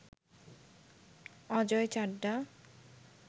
Ajay Chadha